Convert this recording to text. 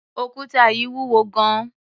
Òkúta yìí wúwo gan-an.